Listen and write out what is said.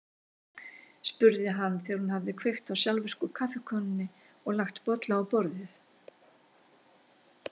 spurði hann þegar hún hafði kveikt á sjálfvirku kaffikönnunni og lagt bolla á borðið.